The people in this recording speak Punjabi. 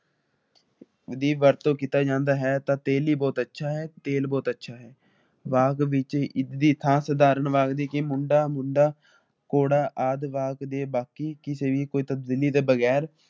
ਦੀ ਵਰਤੋਂ ਕੀਤਾ ਜਾਂਦਾ ਹੈ ਤਾ ਤੇਲੀ ਬਹੁੱਤ ਅੱਛਾ ਹੈ ਤੇਲ ਬੋਹਤ ਅੱਛਾ ਹੈ ਵਾਕ ਵਿੱਚ ਇਸਦੀ ਖਾਸ ਉਦਾਹਰਣ ਵਗਦੀ ਕੀ ਮੁੰਡਾ ਮੁੰਡਾ ਘੋੜਾ ਆਦਿ । ਵਾਕ ਦੇ